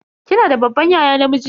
Kina da babban yaya namiji?